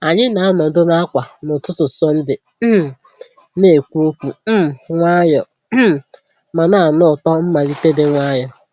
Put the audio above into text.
Anyị na-anọdụ n'àkwà n'ụtụtụ Sọnde, um na-ekwu okwu um nwayọọ um ma na-anụ ụtọ mmalite dị nwayọọ.